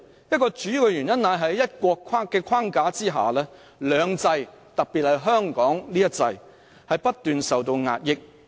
一個主要的原因是，在"一國"的框架下，"兩制"——特別是香港的一制——不斷受到壓抑。